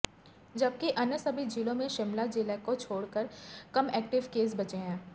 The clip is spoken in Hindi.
जबकि अन्य सभी जिलों में शिमला जिला को छोड़ कर कम एक्टिव केस बचे हैं